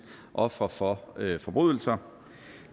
ofre for forbrydelser